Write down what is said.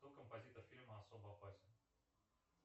кто композитор фильма особо опасен